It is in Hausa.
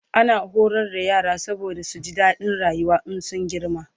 ana horar da yara saboda su ji dadin rayuwa in sun girma